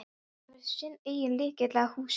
Hefur sinn eigin lykil að húsinu.